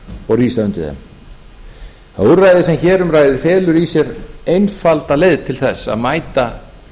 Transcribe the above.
og rísa undir þeim það úrræði sem hér um ræðir felur í sér einfalda leið til þess að mæta